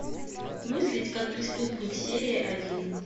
мыслить как преступник серия один